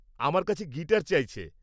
-আমার কাছে গিটার চাইছে।